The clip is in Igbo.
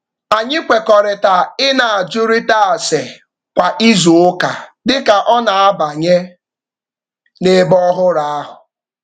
Anyị kwekọrịtara ị na-ajụrịta ase kwa izuụka dị ka ọ na-abanye n'ebe ọhụrụ ahụ.